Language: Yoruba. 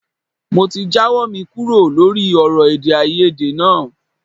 Mo ti jáwọ́ mi kúrò lórí ọ̀rọ̀ èdèàìyedè náà